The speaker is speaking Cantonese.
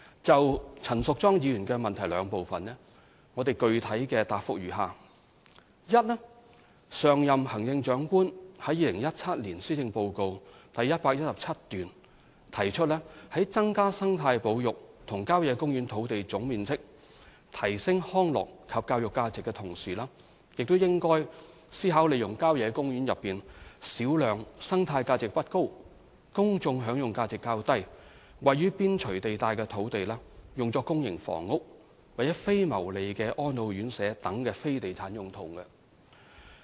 就陳淑莊議員質詢的兩部分，我的具體答覆如下：一上任行政長官於2017年施政報告第117段中提出，在增加生態保育及郊野公園土地總面積、提升康樂及教育價值的同時，也應該思考利用郊野公園內小量生態價值不高、公眾享用價值較低、位於邊陲地帶的土地用作公營房屋、非牟利的安老院舍等非地產用途。